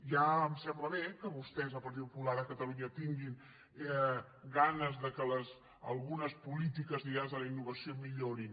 ja em sembla bé que vostès el partit popular a catalunya tinguin ganes que algunes polítiques lligades a la innovació millorin